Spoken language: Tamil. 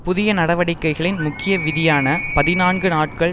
புதிய நடவடிக்கைகளின் முக்கிய விதியான பதினான்கு நாட்கள்